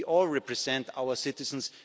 of Europe. We all represent our